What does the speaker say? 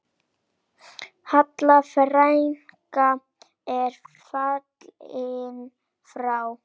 Halla frænka er fallin frá.